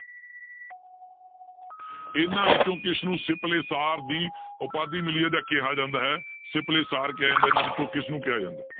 ਇਹਨਾਂ ਵਿੱਚੋਂ ਕਿਸਨੂੰ ਸਿੰਪਲੇ ਸਾਰ ਦੀ ਉਪਾਧੀ ਮਿਲੀ ਹੈ ਜਾਂ ਕਿਹਾ ਜਾਂਦਾ ਹੈ, ਸਿੰਪਲੇ ਸਾਰ ਕਿਹਾ ਜਾਂਦਾ ਇਹਨਾਂ ਵਿੱਚੋਂ ਕਿਸਨੂੰ ਕਿਹਾ ਜਾਂਦਾ?